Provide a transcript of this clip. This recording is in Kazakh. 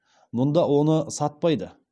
мұнда оны сатпайды